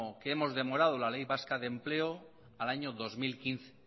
que hemos demorado la ley vasca de empleo al año dos mil quince